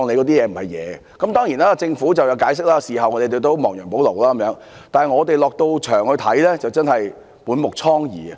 當然，政府曾作出解釋，事後亦有亡羊補牢，但是，我們在現場所見，真是滿目瘡痍。